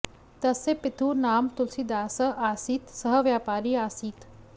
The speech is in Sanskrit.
तस्य पितुः नाम तुलसीदासः आसीत् सः व्यापारी आसीत्